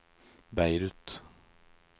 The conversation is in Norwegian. Beirut